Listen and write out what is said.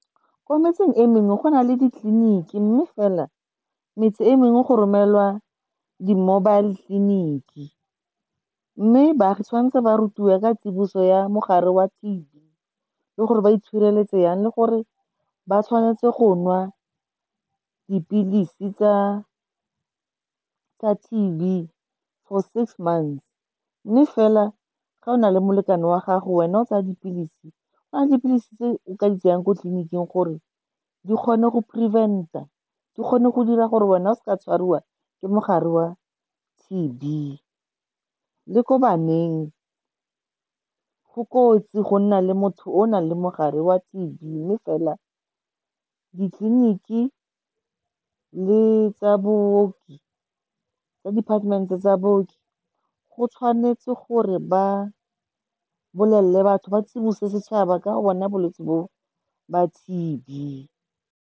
Ko metseng e mengwe go na le ditleliniki, mme fela metse e mengwe go romelwa di-mobile clinic. Mme baagi tshwanetse ba rutiwe ka tsiboso ya mogare wa T_B, le gore ba itshireletse jang, le gore ba tshwanetse go nwa dipilisi tsa T_B for six months. Mme fela, ga o na le molekane wa gago, wena o tsaya dipilisi, go na le dipilisi tse o ka di tsayang ko tleliniking gore di kgone go prevent-a, di kgone go dira gore wena o se ka tshwariwa ke mogare wa T_B. Le ko baneng, go kotsi go nna le motho o o nang le mogare wa T_B, mme fela ditleliniki le tsa department tsa booki, go tshwanetse gore ba tsibose setšhaba ka go bona bolwetse bo ba T_B.